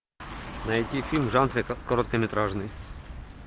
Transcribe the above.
найти фильм в жанре короткометражный